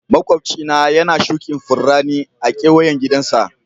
Maƙwabci na yana shukin Furanni a'keweyan gidan sa.